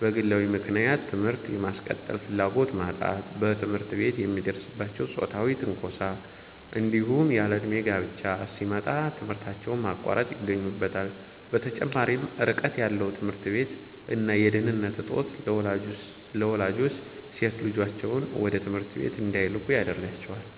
በግለዊ ምክንያት ትምህርት የማስቀጠል ፍላጎት ማጣት፣ በትምህርት ቤት የሚደርስባቸው ጾታዊ ትንኮሳ፣ እንዲሁም ያለእድሜ ጋብቻ ሲመጣ ትምህርታቸውን ማቋረጥ ይገኙበታል። በተጨማሪም ርቀት ያለው ትምህርት ቤት እና የደህንነት እጦት ለወላጆች ሴት ልጆቻቸውን ወደ ትምህርት ቤት እንዳይልኩ ያደርጋል።